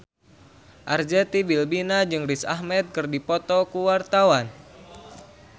Arzetti Bilbina jeung Riz Ahmed keur dipoto ku wartawan